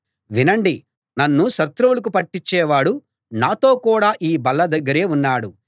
వినండి నన్ను శత్రువులకు పట్టించే వాడు నాతో కూడా ఈ బల్ల దగ్గరే ఉన్నాడు